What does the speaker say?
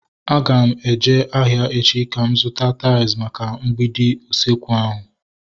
Aga m eje ahịa echi ka m zụta tais maka mgbidi usekwu ahu